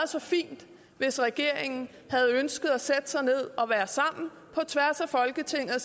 så fint hvis regeringen havde ønsket at sætte sig ned og være sammen på tværs af folketinget og